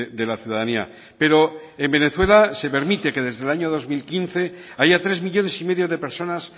de la ciudadanía pero en venezuela se permite que desde el año dos mil quince haya tres millónes y medio de personas